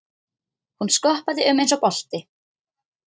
Hún skoppaði um eins og bolti.